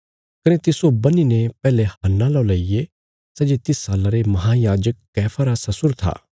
कने तिस्सो बन्हीने पैहले हन्ना लौ लईगे सै जे तिस साल्ला रे महायाजक कैफा रा ससुर था